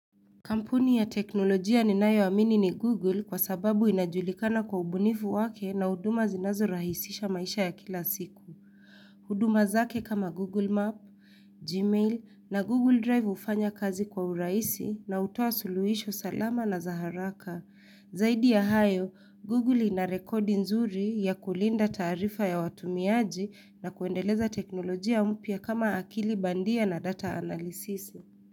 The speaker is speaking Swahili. Kampuni ya teknolojia ninayo amini ni Google kwa sababu inajulikana kwa ubunifu wake na huduma zinazo rahisisha maisha ya kila siku. Huduma zake kama Google Map, Gmail na Google Drive hufanya kazi kwa uraisi na utoa suluhisho salama na zaharaka. Zaidi ya hayo, Google inarekodi nzuri ya kulinda tarifa ya watumiaji na kuendeleza teknolojia mpia kama akili bandia na data analysis.